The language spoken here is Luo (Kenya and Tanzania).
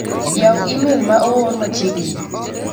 yaw imel ma oor machieg'ni ni .